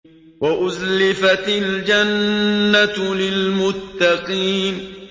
وَأُزْلِفَتِ الْجَنَّةُ لِلْمُتَّقِينَ